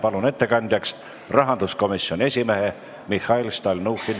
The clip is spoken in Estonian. Palun ettekandjaks rahanduskomisjoni esimehe Mihhail Stalnuhhini.